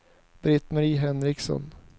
Britt-Marie Henriksson